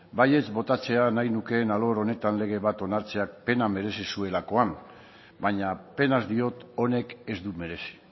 baietz botatzea nahi nukeen alor honetan lege bat onartzea pena merezi zuelakoa vaina penaz diot honek ez du merezi